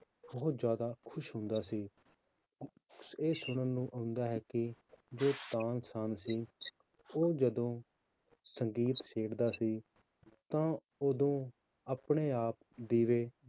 ਬਹੁਤ ਜ਼ਿਆਦਾ ਖ਼ੁਸ਼ ਹੁੰਦਾ ਸੀ ਇਹ ਸੁਣਨ ਨੂੰ ਆਉਂਦਾ ਹੈ ਕਿ ਜੋ ਤਾਨਸੇਨ ਸੀ, ਉਹ ਜਦੋਂ ਸੰਗੀਤ ਛੇੜਦਾ ਸੀ ਤਾਂ ਉਦੋਂ ਆਪਣੇ ਆਪ ਦੀਵੇ